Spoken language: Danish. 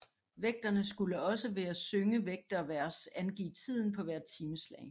Vægterne skulle også ved at synge vægtervers angive tiden på hvert timeslag